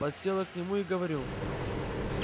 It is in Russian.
подсела к нему и говорю